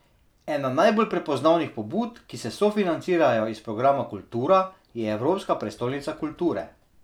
Ena najbolj prepoznavnih pobud, ki se sofinancirajo iz programa Kultura, je Evropska prestolnica kulture.